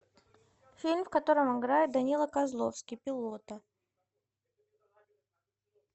фильм в котором играет данила козловский пилота